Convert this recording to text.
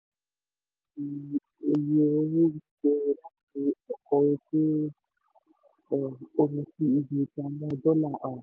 èyí jẹ́ àbájáde iye owó gbígbé láti ọkọ̀ ojú um omi sí ibi ìpamọ́ (dọ́là). um